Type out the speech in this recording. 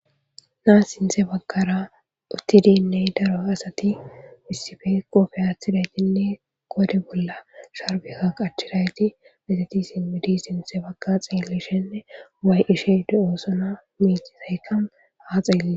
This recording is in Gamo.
naa sinte baggara uttidiinney daro asati issife kofeyaaththida jinle gode bolla sharbekka qachirayti meteti simmidi sintse bagga xeeleshinne waay ishe de7oosona miixizaykan haa xeelle